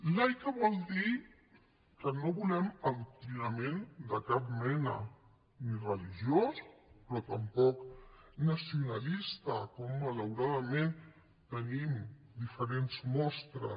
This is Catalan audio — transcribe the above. laica vol dir que no volem adoctrinament de cap mena ni religiós però tampoc nacionalista com malauradament en tenim diferents mostres